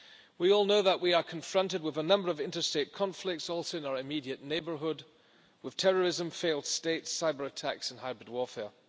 We all know that we are confronted with a number of interstate conflicts, also in our immediate neighbourhood, with terrorism, failed states, cyber attacks and hybrid warfare.